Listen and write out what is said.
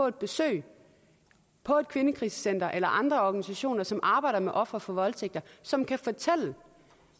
at besøge et kvindekrisecenter eller andre organisationer som arbejder med ofre for voldtægt som kan fortælle